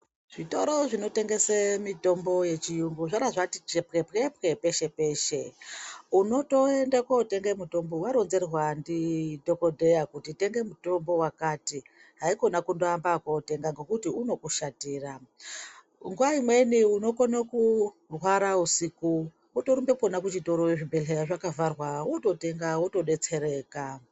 Zvitoro zvinotengese mutombo yechiyungu zvara zvati chara chepwepwe peshe peshe unotoende kotenge mutombo waronzerwa ndidhokodheya kuti tenge mutombo wakati haikona kundiamba ngekotenga ngekuti unokushatira nguwa imweni unokono kurwara usiku wotorumbe kwona kuchitoro zvibhedhlera zvakavharwa wototenga wotodetsereka.